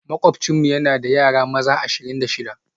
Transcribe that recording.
Makwabcinmu yana da yara maza ashirin da shida